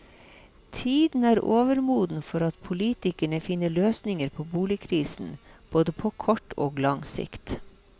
Tiden er overmoden for at politikerne finner løsninger på boligkrisen, både på kort og lang sikt.